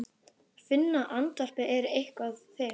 Finna að andvarpið er eitthvert þykkildi.